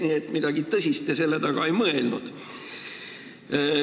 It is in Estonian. Nii et midagi tõsist te selle all ei mõelnud.